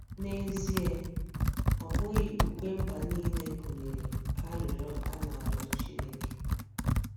N'ezie, ọ bụghị ukwe mba nile gụnyere arịrịọ a na-arịọ Chineke.